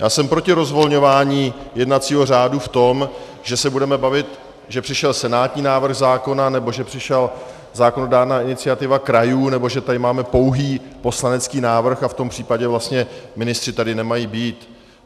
Já jsem proti rozvolňování jednacího řádu v tom, že se budeme bavit, že přišel senátní návrh zákona nebo že přišla zákonodárná iniciativa krajů, nebo že tady máme pouhý poslanecký návrh a v tom případě vlastně ministři tady nemají být.